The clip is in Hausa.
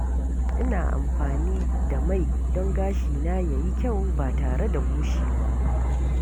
Ina amfani da mai don gashina ya yi kyau ba tare da bushewa ba.